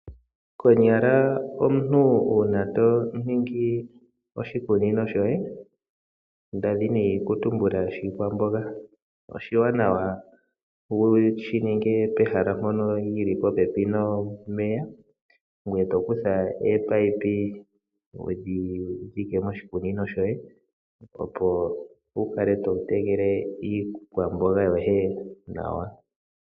Konyala omuntu uuna to ningi oshikunino shoye, nda dhini oku tumbula shiikwamboga oshiwanawa wu shi ninge pehala mpono li li popepi nomeya ,ngoye to kutha oopayipi wu dhi dhike moshikunino shoye, opo wu kale to tekele iikwamboga yoye nawa.